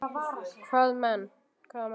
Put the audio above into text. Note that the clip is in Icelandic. Hvaða menn?